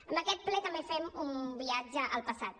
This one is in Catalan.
amb aquest ple també fem un viatge al passat